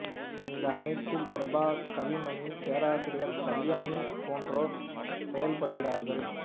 இந்த அமைப்பில் பிரபா கல்விமணி பேராசிரியர் கல்யாணி போன்றோர் செயற்படுகிறார்கள்